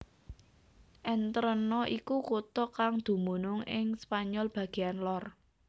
Entrena iku kutha kang dumunung ing Spanyol bagéan lor